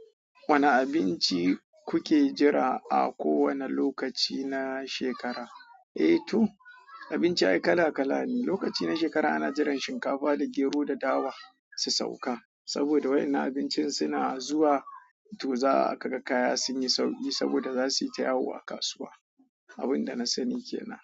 Wane abinci kuke jira a kowane lokaci na shekara? Eh to abinci ai kala kala ne. Lokaci na shekara ana jiran shinkafa da gero da dawa su sauka. Saboda wa yannan abincin suna zuwa, to za a kaga kaya sun yi sauki saboda za su yi tayawo a kasuwa. Abin da na sani ke nan.